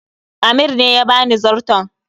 Amir ne ya bani zarton